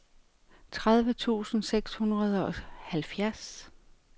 tredive tusind seks hundrede og halvfjerds